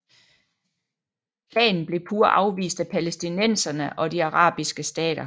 Planen blev pure afvist af palæstinenserne og de arabiske stater